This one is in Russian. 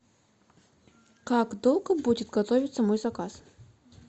как долго будет готовиться мой заказ